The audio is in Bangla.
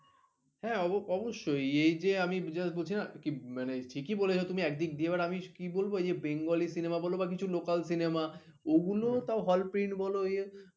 হ্যাঁ অবশ্যই এ যে আমি just বলছি না কি মানে ঠিকই বলেছ একদিক দিয়ে আমি কি বলবো যে bengali cinema বল বা কিছু local cinema ওগুলো তাও hall print বল